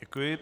Děkuji.